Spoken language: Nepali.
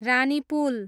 रानीपुल